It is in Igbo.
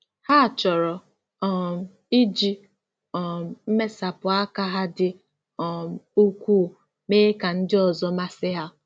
Ha chọrọ um iji um mmesapụ aka ha dị um ukwuu mee ka ndị ọzọ masị ha.